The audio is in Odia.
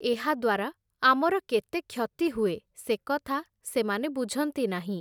ଏହାଦ୍ଵାରା, ଆମର କେତେ କ୍ଷତି ହୁଏ ସେକଥା ସେମାନେ ବୁଝନ୍ତି ନାହିଁ ।